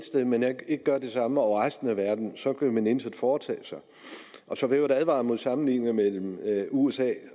sted men ikke gør det samme over resten af verden så kan man intet foretage sig og så vil jeg advare mod sammenligninger mellem usa